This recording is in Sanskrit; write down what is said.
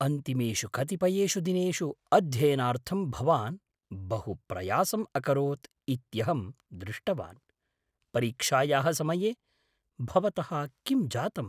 अन्तिमेषु कतिपयेषु दिनेषु अध्ययनार्थं भवान् बहु प्रयासम् अकरोत् इत्यहं दृष्टवान्। परीक्षायाः समये भवतः किं जातम्?